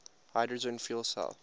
hydrogen fuel cell